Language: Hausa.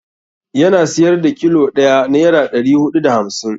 Yana siyar da kilo ɗaya naira ɗari huɗu da hamsin.